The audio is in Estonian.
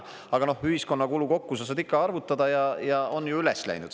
Aga ühiskonna kulu kokku sa saad ikka arvutada ja on ju üles läinud.